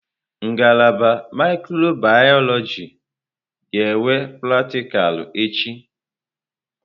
Ngalaba mikrobiyọlojị ga-enwe pratịkal echi.